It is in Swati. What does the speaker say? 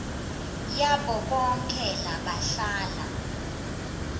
yabo bonkhe labahlala